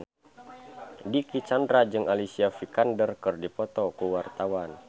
Dicky Chandra jeung Alicia Vikander keur dipoto ku wartawan